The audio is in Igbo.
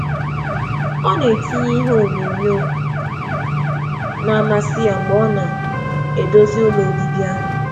Ọ na-etinye ihe ngosi ọ masịrị ya ka ka ọ na-eme ụlọ obibi ya mma.